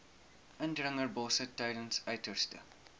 indringerbosse tydens uiterste